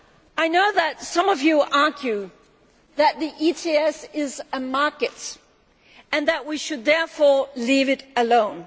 I know some of you argue that the ETS is a market and that we should, therefore, leave it alone.